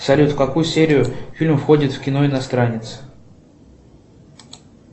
салют в какую серию фильмов входит кино иностранец